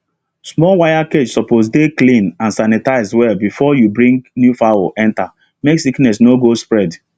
small wire cage suppose dey clean and sanitizie well before you bring new fowl enter make sickness no go spread